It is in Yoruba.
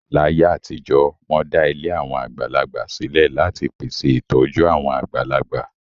Láyé àtijọ́, wọ́n dá ilé àwọn àgbàlagbà sílẹ̀ láti pèsè ìtọ́jú àwọn àgbàlagbà.